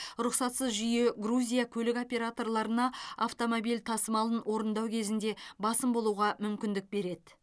рұқсатсыз жүйе грузия көлік операторларына автомобиль тасымалын орындау кезінде басым болуға мүмкіндік береді